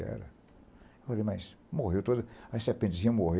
que era. Eu falei, mas morreu toda... A serpentezinha morreu.